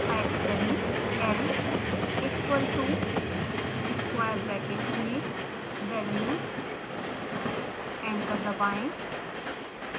type करें l equal to square brackets में values enter दबाएं